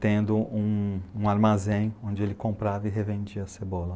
tendo um um armazém onde ele comprava e revendia cebola.